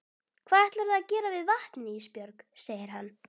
Hvað ætlarðu að gera við vatnið Ísbjörg, segir hann.